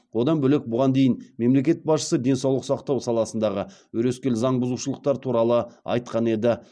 одан бөлек бұған дейін мемлекет басшысы денсаулық сақтау саласындағы өрескел заң бұзушылықтар туралы айтқан еді